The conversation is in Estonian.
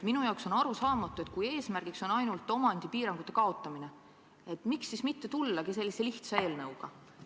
Minu jaoks on arusaamatu, et kui eesmärgiks on ainult omandipiirangute kaotamine, siis miks mitte tullagi välja sellise lihtsa eelnõuga.